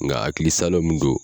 Nga hakili salo min don